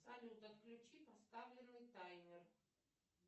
салют отключи поставленный таймер